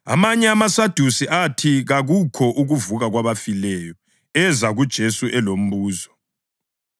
Amanye amaSadusi athi kakukho ukuvuka kwabafileyo eza kuJesu elombuzo.